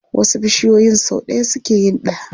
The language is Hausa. Wasu bishiyoyin sau ɗaya suke yin ɗa.